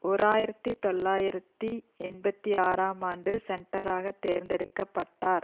ஓர் ஆயிரத்தி தொள்ளாயிரத்தி எண்பத்தி ஆறாம் ஆண்டு சென்ட்டராக தேர்ந்தெடுக்க பட்டார்